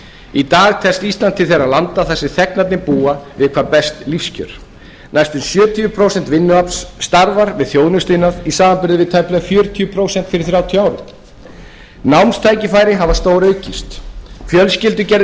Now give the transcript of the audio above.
í dag telst ísland til þeirra landa þar sem þegnarnir búa við hvað best lífskjör næstum sjötíu prósent vinnuafls starfar við þjónustuiðnað í samanburði við tæplega fjörutíu prósent fyrir þrjátíu árum námstækifæri hafa stóraukist fjölskyldugerðin